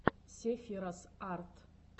сефирос арт